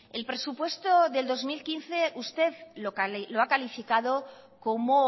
el presupuesto del dos mil quince usted lo ha calificado como